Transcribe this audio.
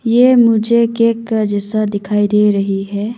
ये मुझे केक का जैसा दिखाई दे रही है।